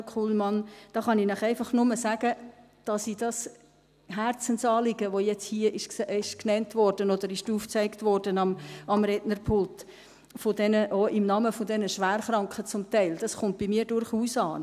Samuel Kullmann, dazu kann ich Ihnen einfach nur sagen, dass dieses Herzensanliegen, das nun hier genannt oder aufgezeigt wurde am Rednerpult, auch zum Teil im Namen der Schwerkranken, bei mir durchaus ankommt.